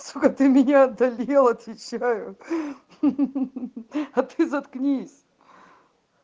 сука ты меня одолел отвечаю ха-ха-ха а ты заткнись